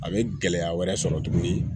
A bɛ gɛlɛya wɛrɛ sɔrɔ tuguni